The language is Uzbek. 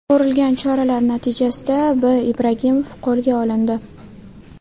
Ko‘rilgan choralar natijasida B. Ibragimov qo‘lga olindi.